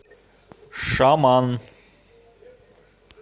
шаман